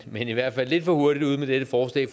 men i hvert fald lidt for hurtigt ude med dette forslag